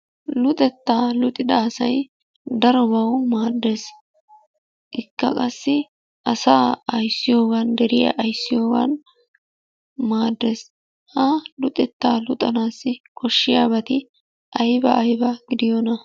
Luxetta luxida asay darobaw maaddees. Ikka qassi asa ayssiyoogan, deriyaa ayssiyoogana maaddees. Ha luxetta luxettanassi koshiyaabati aybba aybba gidiyoona?